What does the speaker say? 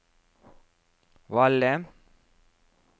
Valle